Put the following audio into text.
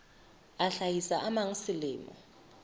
a hlahisa a mang selemo